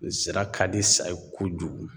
Zira ka di sa ye kojugu.